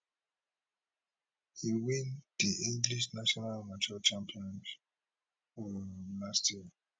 e win di english national amateur champion um last year